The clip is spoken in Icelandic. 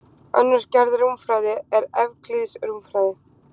Önnur gerð rúmfræði er evklíðsk rúmfræði.